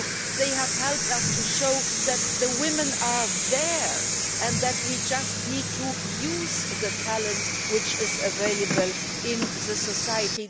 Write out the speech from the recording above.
They have helped us to show that the women are there and that we just need to use the talent which is available in society.